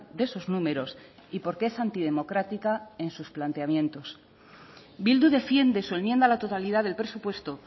de sus números y porque es antidemocrática en sus planteamientos bildu defiende su enmienda a la totalidad del presupuesto